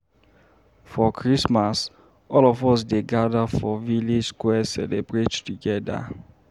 For Christmas, all of us dey gada for village square celebrate togeda.